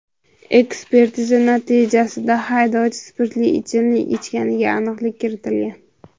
Ekspertiza natijasida haydovchi spirtli ichimlik ichganiga aniqlik kiritilgan.